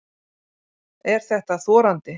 Er þetta þorandi?